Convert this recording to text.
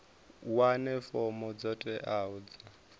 wane fomo dzo teaho dza